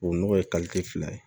O nɔgɔ ye fila ye